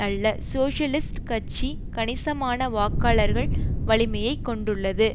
அல்ல சோசியலிஸ்ட் கட்சி கணிசமான வாக்காளர்கள் வலிமையை கொண்டுள்ளது